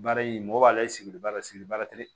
Baara in mɔgɔ b'a la e sigilen b'a la sigili b'a tere